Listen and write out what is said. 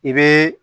I bɛ